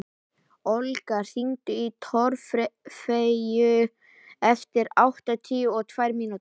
Olga, hringdu í Torfeyju eftir áttatíu og tvær mínútur.